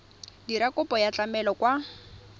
dira kopo ya tlamelo kwa